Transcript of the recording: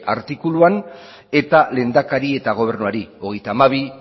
artikuluan eta lehendakari eta gobernuari hogeita hamabi